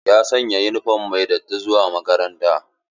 Ya sanya yunifom mai datti zuwa makaranta.